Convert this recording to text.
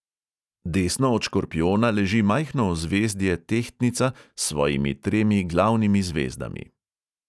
Desno od škorpijona leži majhno ozvezdje tehtnica s svojimi tremi glavnimi zvezdami.